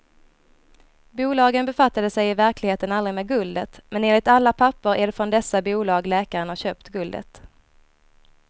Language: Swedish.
Bolagen befattade sig i verkligheten aldrig med guldet, men enligt alla papper är det från dessa bolag läkaren har köpt guldet.